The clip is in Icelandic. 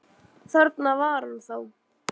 Þarna var hann þá!